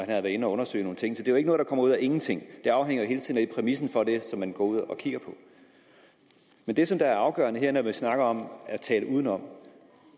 været inde og undersøge nogle ting så det er ikke noget der kommer ud af ingenting det afhænger hele tiden af præmissen for det som man går ud og kigger på men det som er afgørende her når man snakker om at tale udenom